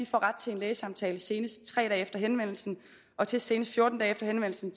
får ret til en lægesamtale senest tre dage efter henvendelsen og til senest fjorten dage efter henvendelsen